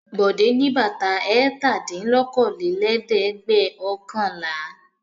Bọ̀dé ní bàtà ẹ̀tàdínlókòólélẹ́ẹ̀dẹ́gbẹ̀ọ̀kànlá.